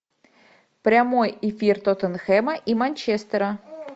прямой эфир тоттенхэма и манчестера